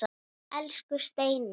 Elsku Steina.